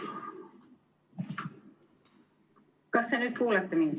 Kas te nüüd kuulete mind?